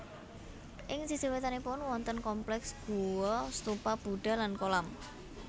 Ing sisih wétanipun wonten kompleks guwa stupa Budha lan kolam